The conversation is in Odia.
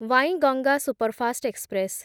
Wainganga superfast express